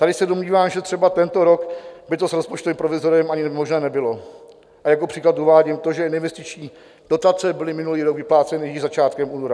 Tady se domnívám, že třeba tento rok by to s rozpočtovým provizoriem ani možné nebylo, a jako příklad uvádím to, že neinvestiční dotace byly minulý rok vypláceny již začátkem února.